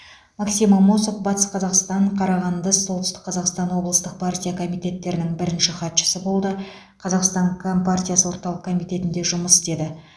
максим амосов батыс қазақстан қарағанды солтүстік қазақстан облыстық партия комитеттерінің бірінші хатшысы болды қазақстан компартиясы орталық комитетінде жұмыс істеді